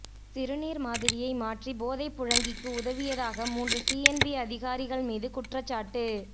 சிறுநீர் மாதிரியை மாற்றி போதைப்புழங்கிக்கு உதவியதாக மூன்று சிஎன்பி அதிகாரிகள் மீது குற்றச்சாட்டு